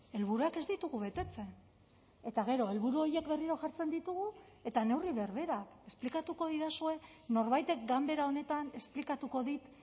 helburuak ez ditugu betetzen eta gero helburu horiek berriro jartzen ditugu eta neurri berberak esplikatuko didazue norbaitek ganbera honetan esplikatuko dit